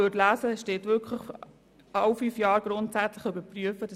Allerdings steht ausdrücklich, dass man sie alle fünf Jahre grundsätzlich überprüfen solle.